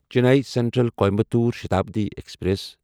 Chennai central Coimbatore Shatabdi express